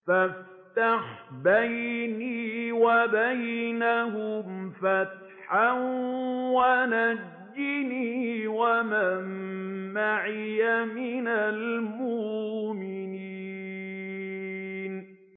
فَافْتَحْ بَيْنِي وَبَيْنَهُمْ فَتْحًا وَنَجِّنِي وَمَن مَّعِيَ مِنَ الْمُؤْمِنِينَ